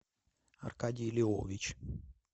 аркадий львович